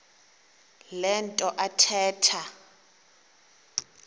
le nto athetha